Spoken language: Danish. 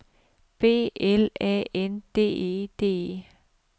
B L A N D E D E